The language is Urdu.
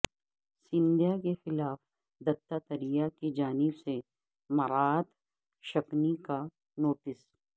سندھیا کے خلاف دتاتریہ کی جانب سے مراعات شکنی کا نوٹس